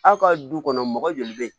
Aw ka du kɔnɔ mɔgɔ joli bɛ yen